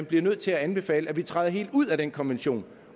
bliver nødt til at anbefale at vi træder helt ud af den konvention